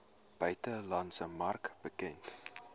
buitelandse mark bekend